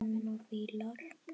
Menn og fílar